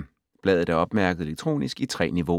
Bladet er opmærket elektronisk i 3 niveauer.